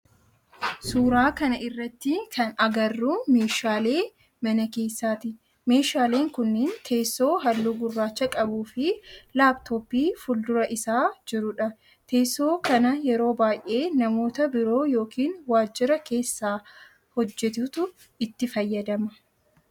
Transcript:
Suuraa kana irratti kan agarru meeshaalee mana keessati. Meeshaaleen kunniin teessoo halluu gurraacha qabuu fi laptooppii fuldura isaa jirudha. Teesoon kana yeroo baayyee namoota biiroo yookin waajjira keessa hojjeetutu itti fayyadama.